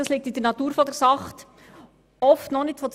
Das liegt in der Natur der Sache.